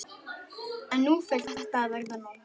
En nú fer þetta að verða nóg.